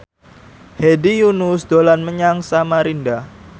Hedi Yunus dolan menyang Samarinda